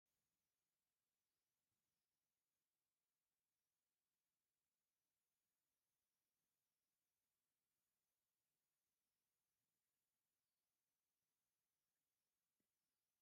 ኣዝያ ዘመናዊት ዝኾነት ዓይነት መኪና እኔቶ፡፡ ኣዛ መኪና ንመጓዓዓዚ ህዝቢ ኣይርውዕልን እያ፡፡ ካብዚ ወፃኢ ድማ ንምንታይ ግልጋሎት ክትጠቅም ትኽእል ይመስለኩም?